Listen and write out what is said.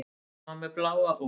Hann var með bláa ól.